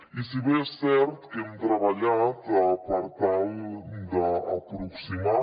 i si bé és cert que hem treballat per tal d’aproximar